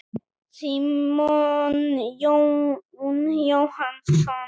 Símon Jón Jóhannsson.